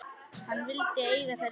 Hann vildi eiga þær einn.